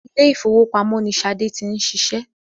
Ilé ìwowópamọ́ ní Ṣadé ti ń ṣiṣẹ́